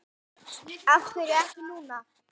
Af hverju ekki núna?